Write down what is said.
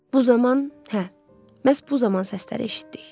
Bu zaman, hə, məhz bu zaman səsləri eşitdik.